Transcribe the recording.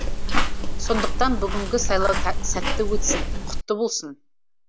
сондықтан бүгінгі сайлау сәтті өтсін құтты болсын